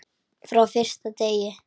Frá fyrsta degi.